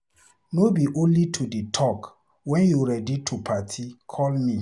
No be only to dey talk, wen you ready to party call me.